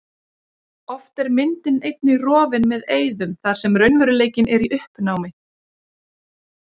Oft er myndin einnig rofin með eyðum þar sem raunveruleikinn er í uppnámi.